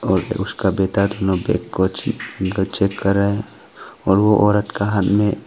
उसका बेटा कुछ अंदर चेक कर रहा है और वो औरत का हाथ में--